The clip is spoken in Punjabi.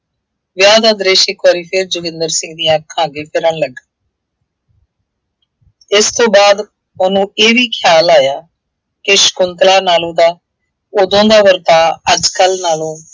ਵਿਆਹ ਦਾ ਦ੍ਰਿਸ਼ ਇੱਕ ਵਾਰੀ ਫੇਰ ਜੋਗਿੰਦਰ ਸਿੰਘ ਦੀਆ ਅੱਖਾਂ ਅੱਗੇ ਫਿਰਨ ਲੱਗਾ। ਇਸ ਤੋਂ ਬਾਅਦ ਉਹਨੂੰ ਇਹ ਵੀ ਖਿਆਲ ਆਇਆ ਕਿ ਸ਼ੰਕੁਤਲਾ ਨਾਲੋਂ ਤਾਂ ਉਦੋਂ ਦਾ ਵਰਤਾਉ, ਅੱਜ ਕੱਲ੍ਹ ਨਾਲੋਂ